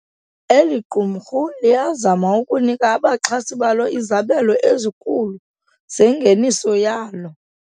Eli qumrhu liyazama ukunika abaxhasi balo izabelo ezikhulu zengeniso yalo.